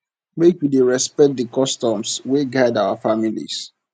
make we dey respect di customs wey guide our families